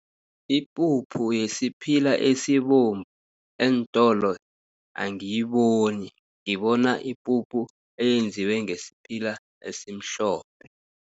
Ipuphu yesiphila esibovu eentolo angiyiboni, ngibona ipuphu eyenziwe ngesiphila esimhlophe.